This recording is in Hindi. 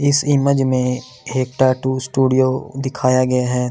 इस इमेज में एक्टा टू स्टूडियो दिखाया गया है।